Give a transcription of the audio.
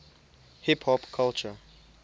hip hop culture